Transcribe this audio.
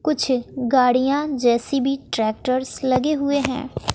कुछ गाड़ियाँ JCB tractors लगे हुए हैं।